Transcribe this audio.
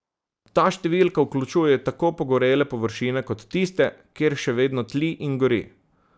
Ta številka vključuje tako pogorele površine kot tiste, kjer še vedno tli in gori.